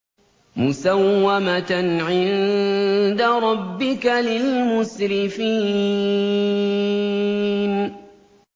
مُّسَوَّمَةً عِندَ رَبِّكَ لِلْمُسْرِفِينَ